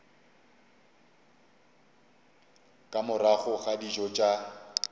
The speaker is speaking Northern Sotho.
ka morago ga dijo tša